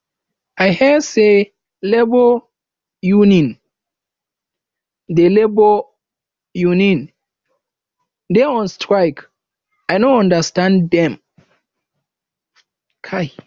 i hear say labour unin dey labour unin dey on strike i no understand dem